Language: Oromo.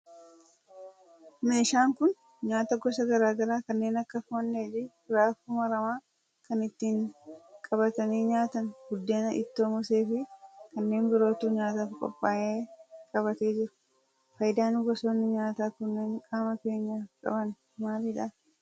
meeshaan kun nyaata gosa garaa garaa kanneen akka foon dheedhii, raafuu maramaa, kan ittin qabatanii nyaatan buddeen, ittoo moosee fi kanneen birootu nyaataf qophaa'ee qabatee jira. faayidaan gosoonni nyaataa kunneen qaama keenyaf qaban maalidha?